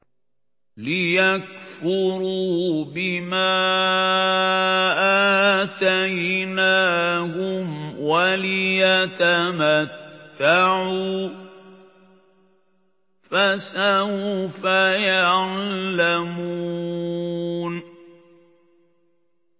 لِيَكْفُرُوا بِمَا آتَيْنَاهُمْ وَلِيَتَمَتَّعُوا ۖ فَسَوْفَ يَعْلَمُونَ